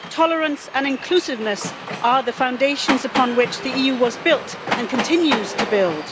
Tolerance and inclusiveness are the foundations upon which the EU was built and continues to build.